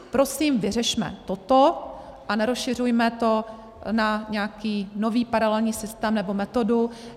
Prosím, vyřešme toto a nerozšiřujme to na nějaký nový paralelní systém nebo metodu.